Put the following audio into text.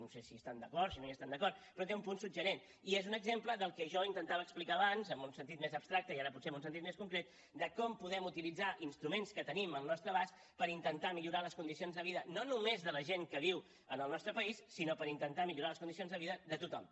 no sé si hi estan d’acord si no hi estan d’acord però té un punt suggeridor i és un exemple del que jo intentava explicar abans en un sentit més abstracte i ara potser en un sentit més concret de com podem utilitzar instruments que tenim al nostre abast per intentar millorar les condicions de vida no només de la gent que viu en el nostre país sinó per intentar millorar les condicions de vida de tothom